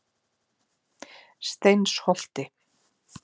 Steinsholti